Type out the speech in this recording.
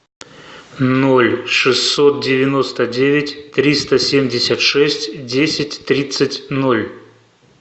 ноль шестьсот девяносто девять триста семьдесят шесть десять тридцать ноль